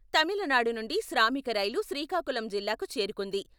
తమిళనాడు నుండి శ్రామిక రైలు శ్రీకాకుళం జిల్లాకు చేరుకుంది.